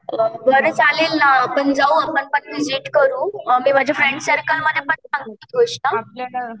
अ बरे चालेल आपण जाऊ आपण करू मी माझ्या फ्रेंड सर्कलमध्ये पण